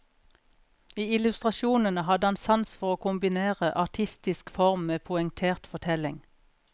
I illustrasjonene hadde han sans for å kombinere artistisk form med poengtert fortelling.